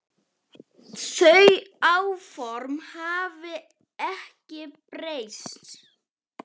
Þau áform hafi ekki breyst.